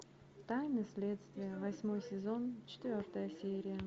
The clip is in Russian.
тайны следствия восьмой сезон четвертая серия